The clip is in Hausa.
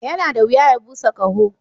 Yana da wuya ya busa ƙaho.